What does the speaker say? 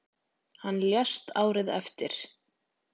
Hann lést árið eftir.